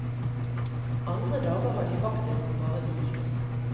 Andre dager har de faktisk bare hvilt.